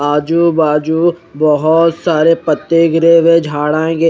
आजू बाजू बहोत सारे पत्ते गिरे हुए है झाडा गिर--